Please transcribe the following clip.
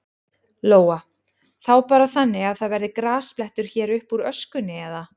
Lóa: Þá bara þannig að það verði grasblettur hér uppúr öskunni, eða?